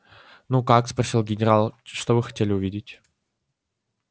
ну как спросил генерал что вы хотели увидеть